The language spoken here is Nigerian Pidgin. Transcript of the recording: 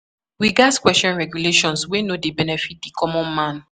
We gatz question regulations wey no dey benefit di common man.